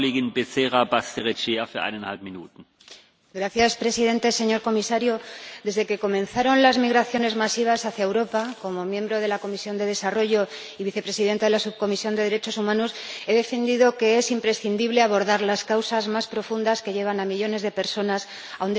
Señor Presidente, señor Comisario, desde que comenzaron las migraciones masivas hacia Europa, como miembro de la Comisión de Desarrollo y Vicepresidenta de la Subcomisión de Derechos Humanos, he defendido que es imprescindible abordar las causas más profundas que llevan a millones de personas a un desplazamiento forzoso.